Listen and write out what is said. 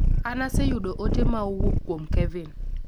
An aseyudo ote ma owuok kuom Kevin